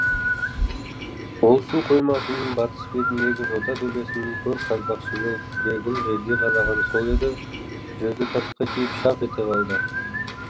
ол су қоймасының батыс бетіндегі жота төбесінен көр қазбақшы болып күрегін жерге қадағаны сол еді жүзі тасқа тиіп шақ ете қалды